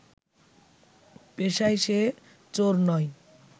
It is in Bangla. পেশায় সে চোর নয়